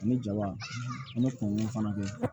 Ani jaba ani kunkolo fana bɛ